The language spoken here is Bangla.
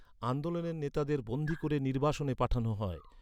আন্দোলনের নেতাদের বন্দি করে নির্বাসনে পাঠানো হয়।